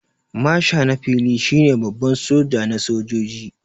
Marsha na fili shi ne Baban soja na sojoji.